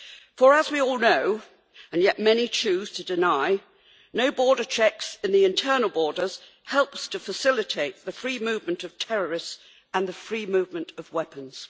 For as we all know, and yet many choose to deny, having no border checks at the internal borders helps to facilitate the free movement of terrorists and the free movement of weapons.